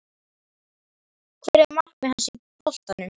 Hver eru markmið hans boltanum?